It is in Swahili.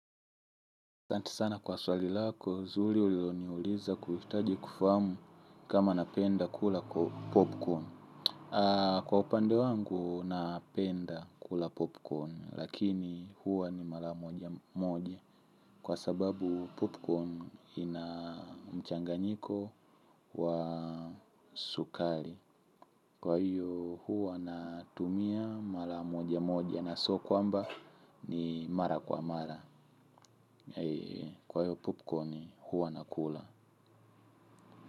Santi sana kwa swali lako, nzuri uliloniuliza kuhitaji kufahamu kama napenda kula popcorn. Kwa upande wangu napenda kula popcorn, lakini huwa ni mara moja moja. Kwa sababu popcorn ina mchanganyiko wa sukari. Kwa hiyo huwa natumia mara moja moja na sio kwamba ni mara kwa mara. Kwa hiyo popcorn huwa nakula.